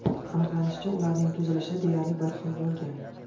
Aniqlanishicha, ularning tuzilishi deyarli bir xil bo‘lgan.